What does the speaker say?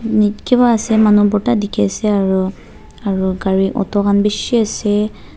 nit kiba ase manu bhorta dikhiase aro aro gari auto khan bishi ase.